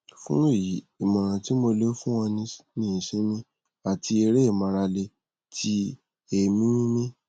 fun eyi imoran ti mo le fun o ni isinmi ati ere imarale ti eemi mimi